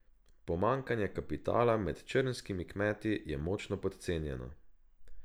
Pomanjkanje kapitala med črnskimi kmeti je močno podcenjeno.